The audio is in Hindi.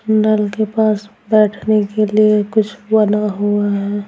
नल के पास बैठने के लिए कुछ बना हुआ है।